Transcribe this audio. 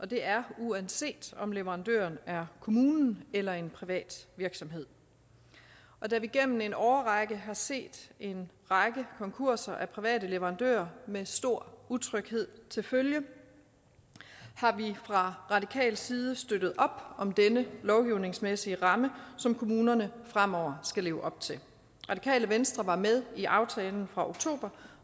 det er uanset om leverandøren er kommunen eller en privat virksomhed og da vi gennem en årrække har set en række konkurser hos private leverandører med stor utryghed til følge har vi fra radikal side støttet op om den lovgivningsmæssige ramme som kommunerne fremover skal leve op til radikale venstre var med i aftalen fra oktober